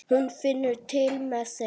Hún finnur til með þeim.